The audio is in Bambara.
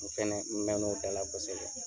U fɛnɛ mɛn'o bɛɛ la kosɛbɛ.